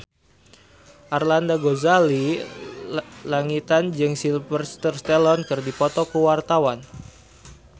Arlanda Ghazali Langitan jeung Sylvester Stallone keur dipoto ku wartawan